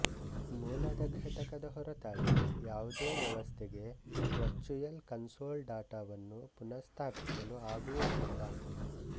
ಮೂಲದ ಘಟಕದ ಹೊರತಾಗಿ ಯಾವುದೇ ವ್ಯವಸ್ಥೆಗೆ ವರ್ಚ್ಯುಯಲ್ ಕನ್ಸೊಲ್ ಡಾಟವನ್ನು ಪುನಃಸ್ಥಾಪಿಸಲು ಆಗುವುದ್ದಿಲ್ಲ